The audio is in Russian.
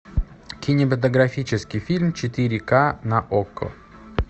кинематографический фильм четыре ка на окко